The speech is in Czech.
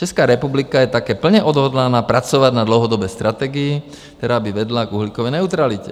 Česká republika je také plně odhodlána pracovat na dlouhodobé strategii, která by vedla k uhlíkové neutralitě.